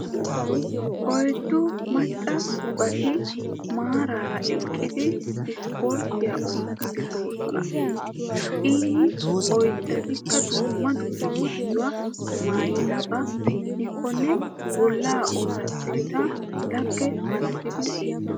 Oyddu macca baati maaraara eqqidi isforttiya oottiiddi de'oosona. Eyi oyddaykka dumma dumma maayuwa maayidabaa gidikkonne bollaa orddetettan lagge malatidi beettoosona